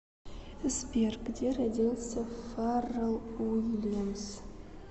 сбер где родился фаррелл уильямс